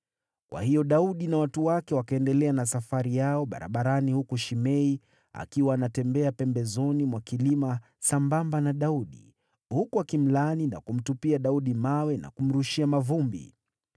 Kwa hiyo Daudi na watu wake wakaendelea na safari yao barabarani, huku Shimei akiwa anatembea pembezoni mwa kilima sambamba na Daudi, huku akimlaani na kumtupia Daudi mawe na kumrushia mavumbi.